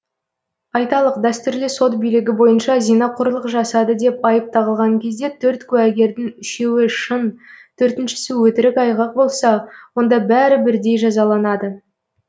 айталық дәстүрлі сот билігі бойынша зинақорлық жасады деп айып тағылған кезде төрт куәгердің үшеуі шын төртіншісі өтірік айғақ болса онда бәрі бірдей жазаланады